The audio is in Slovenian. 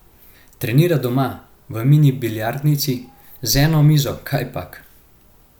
Trenira doma, v mini biljardnici, z eno mizo kajpak.